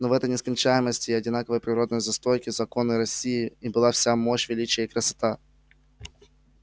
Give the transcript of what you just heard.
но в этой нескончаемости и одинаковой природной застройки законной россии и была вся мощь величие и красота